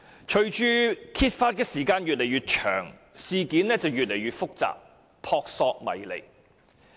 隨着揭發時間越來越長，事件變得越來越複雜，撲朔迷離。